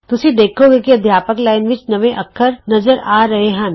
ਤੁਸੀਂ ਵੇਖੋਂਗੇ ਕਿ ਅਧਿਆਪਕ ਲਾਈਨ ਵਿਚ ਨਵੇਂ ਅੱਖਰ ਨਜ਼ਰ ਆ ਰਹੇ ਹਨ